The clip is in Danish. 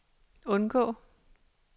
undgå